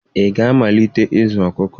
Ị ga-amalite ịzụ ọkụkọ?